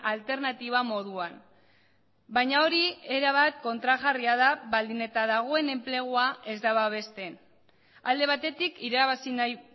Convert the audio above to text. alternatiba moduan baina hori era bat kontrajarria da baldin eta dagoen enplegua ez da babesten alde batetik irabazi nahi